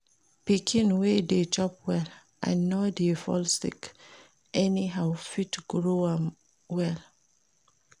Pikin wey de chop well and no de fall sick anyhow fit grow well